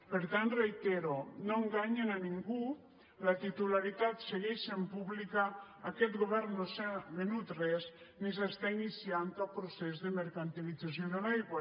per tant ho reitero no enganyen a ningú la titularitat segueix sent pública aquest govern no s’ha venut res ni s’està iniciant cap procés de mercantilització de l’aigua